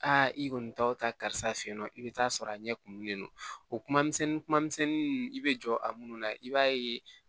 Aa i kɔni t'aw ta karisa fe yen nɔ i bɛ taa sɔrɔ a ɲɛ kumunnen don o kuma misɛnnin kuma misɛnnin nunnu i bɛ jɔ a munnu na i b'a ye